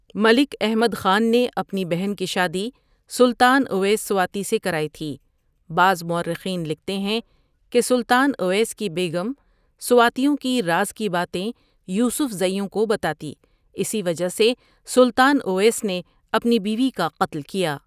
ملک احمد خان نے اپنی بہن کی شادی سلطان اویس سواتی سے کراٸ تھی بعض مٶرٸحین لکھتے ہیکہ سلطان اویس کی بیگم سواتیوں کی راض کی باتیں یوسفذیوں کو بتاتی اسی وجہ سے سلطان اویس بے اپنے بیوی کا قتل کیا ۔